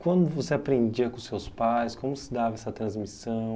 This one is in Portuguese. Quando você aprendia com seus pais, como se dava essa transmissão?